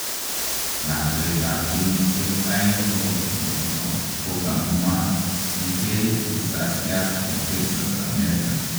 Lakwet ap kenyisiek aegn kokosirto kokogamwa ngee risasiat en Texas America